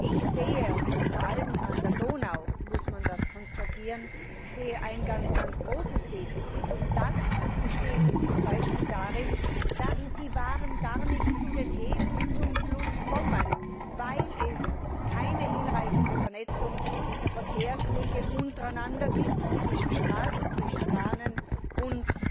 Ich sehe und vor allem an der Donau muss man das konstatieren ein ganz großes Defizit, und das besteht zum Beispiel darin, dass die Waren gar nicht zu den Häfen, zum Fluss kommen, weil es keine hinreichende Vernetzung der Verkehrswege untereinander gibt zwischen Straßen, zwischen Bahnen und